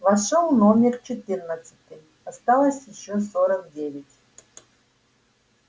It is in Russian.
вошёл номер четырнадцатый осталось ещё сорок девять